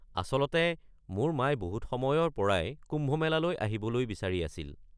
আচলতে মোৰ মাই বহুত সময়ৰ পৰাই কুম্ভ মেলালৈ আহিবলৈ বিচাৰি আছিল।